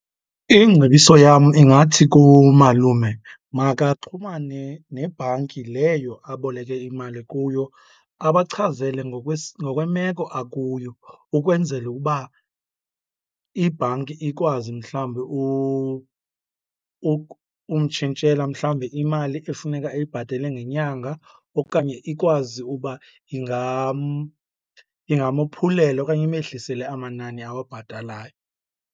Ingcebiso yam ingathi kumalume makaxhumane nebhanki leyo aboleke imali kuyo abachazele ngokwemeko akuyo ukwenzela ukuba ibhanki ikwazi mhlawumbi umtshintshela mhlawumbi imali efuneka eyibhatele ngenyanga okanye ikwazi ukuba ingamophulela okanye imehlisele amanani awabhatalayo.